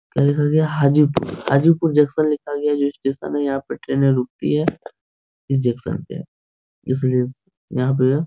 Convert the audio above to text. क्या लिखा गया है हाजीपुर हाजीपुर जंक्शन लिखा गया जो स्टेशन है यहाँ पे ट्रेने रूकती है इस जंक्शन पे इसलिए इस यहाँ पे --